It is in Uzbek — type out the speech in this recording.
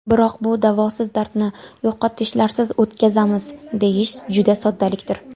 Biroq bu davosiz dardni yo‘qotishlarsiz o‘tkazamiz, deyish juda soddalikdir.